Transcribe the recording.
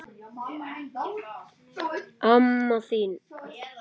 Hún getur það ekki.